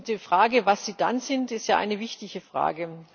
Die Frage, was sie dann sind, ist eine wichtige Frage.